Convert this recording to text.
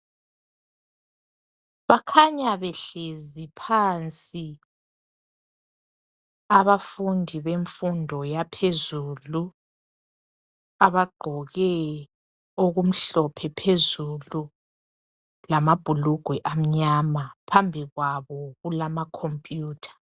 Bakhanya behlezi phansi abafundi bemfundo yaphezulu abagqoke okumhlophe phezulu lamabhulugwe amyama phambi kwabo kulama computer